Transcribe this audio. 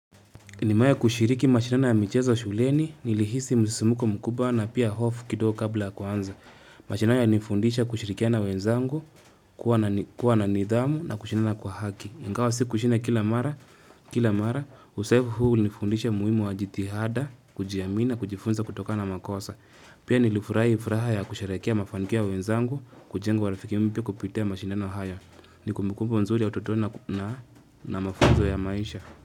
Nimewahi kushiriki mashindano ya michezo shuleni, nilihisi msisimuko mkubwa na pia hofu kidogo kabla ya kuanza. Mashindano yalinifundisha kushirikiana na wenzangu, kuwa na nidhamu na kushindana kwa haki. Ingawa sikushinda kila mara, kila mara, uzoefu huu ulinifundisha umuhimu wa jitihada, kujiamini na kujifunza kutokana na makosa. Pia nilifurahi furaha ya kusherehekea mafanikio ya wenzangu, kujenga urafiki mpya kupitia mashindano hayo. Ni kumbukumbu nzuri ya utotoni na mafunzo ya maisha.